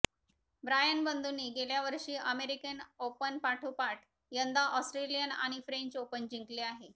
Brian बंधूंनी गेल्या वर्षी अमेरिकन ओपनपाठोपाठ यंदा ऑस्ट्रेलियन आणि फ्रेंच ओपन जिंकले आहे